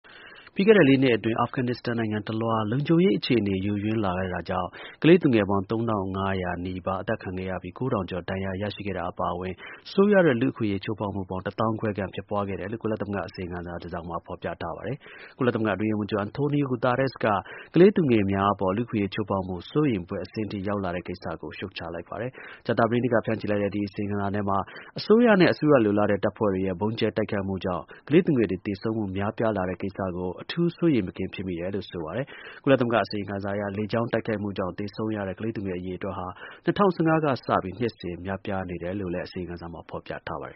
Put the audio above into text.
ပြီးခဲ့တဲ့ ၄ နှစ်အတွင်း အာဖဂန်နစ္စတန် နိုင်ငံတလွှား လုံခြုံရေးအခြေအနေ ယိုယွင်းလာတဲ့ အတွက်ကြောင့် ကလေးသူငယ်ပေါင်း ၃၅၀၀ နီးပါး အသတ်ခံရပြီး ၊ ၉ ထောင်ကျော် ဒဏ်ရာရရှိခဲ့တာ အပါအဝင် ဆိုးရွားတဲ့ လူ့အခွင့်အရေး ချိုးဖေါက်မှုပေါင်း ၁ သောင်းခွဲခန့် ဖြစ်ပွားခဲ့တယ်လို့ ကုလသမဂ္ဂ အစီရင်ခံစာ တစောင်မှာ ဖေါ်ပြထားပါတယ်။ ကုလသမဂ္ဂ အတွင်းရေးမှူးချုပ် Antonio Guterres က ကလေးသူငယ်များအပေါ် လူ့အခွင့်အရေး ချိုးဖောက်မှု စိုးရိမ်ဖွယ် အဆင့်ထိ ရောက်လာတဲ့ကိစ္စကို ရှုတ်ချလိုက်ပါတယ်။ ကြာသပတေးနေ့ကဖြန့်ချီလိုက်တဲ့ ဒီအစီရင်ခံစာထဲမှာ အစိုးရနဲ့ အစိုးရလိုလားတဲ့ တပ်ဖွဲ့တွေရဲ့ ဗုံးကြဲတိုက်ခိုက်မှုကြောင့် ကလေးသူငယ်တွေ သေဆုံးမှု များလာတဲ့ကိစ္စကို အထူးစိုးရိမ်မကင်း ဖြစ်မိတယ်လို့ ဆိုပါတယ်။ ကုလ အစီရင်ခံစာအရ လေကြောင်းတိုက်ခိုက်မှုကြောင့် သေဆုံးရတဲ့ ကလေးသူငယ် အရေအတွက်ဟာ ၂၀၁၅ ကစပြီး နှစ်စဉ်များပြားလာနေတယ်လို့လည်း ဖေါ်ပြထားပါတယ်